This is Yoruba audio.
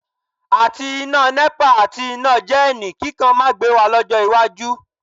Àti iná Nepa àti iná jẹ́ẹ̀nì kíkan máa gbé wa lọ́jọ́ iwájú